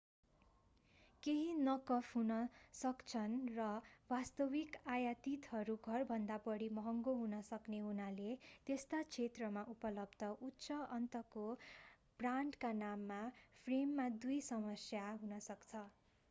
केहि नक अफ हुन सक्छन्‌ र वास्तविक आयातितहरू घरभन्दा बढी महँगो हुन सक्ने हुनाले त्यस्ता क्षेत्रमा उपलब्ध उच्च अन्तको ब्रान्डका नाम फ्रेममा दुई समस्या हुन सक्छ।